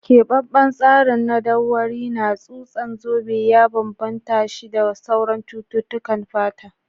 Keɓaɓɓen tsarin madauwari na tsutsan zobe ya bambanta shi da sauran cututtukan fata.